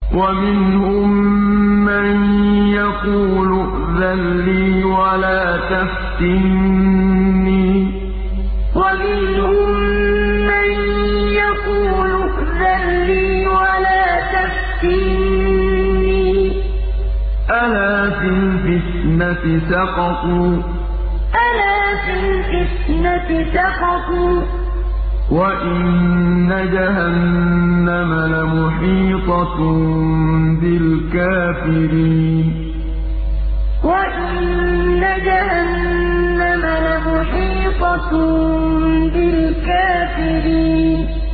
وَمِنْهُم مَّن يَقُولُ ائْذَن لِّي وَلَا تَفْتِنِّي ۚ أَلَا فِي الْفِتْنَةِ سَقَطُوا ۗ وَإِنَّ جَهَنَّمَ لَمُحِيطَةٌ بِالْكَافِرِينَ وَمِنْهُم مَّن يَقُولُ ائْذَن لِّي وَلَا تَفْتِنِّي ۚ أَلَا فِي الْفِتْنَةِ سَقَطُوا ۗ وَإِنَّ جَهَنَّمَ لَمُحِيطَةٌ بِالْكَافِرِينَ